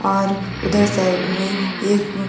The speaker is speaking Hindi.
और उधर साइड में एक --